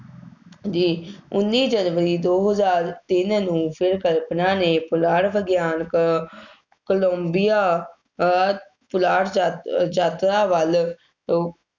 ਜੀ, ਉੱਨੀ ਜਨਵਰੀ ਦੋ ਹਜ਼ਾਰ ਤਿੰਨ ਨੂੰ ਫੇਰ ਕਲਪਨਾ ਨੇ ਪੁਲਾੜ ਵਿਗਿਆਨਕ ਕੋਲੰਬੀਆ ਅਹ ਪੁਲਾੜ ਯਾਤ~ ਯਾਤਰਾ ਵੱਲ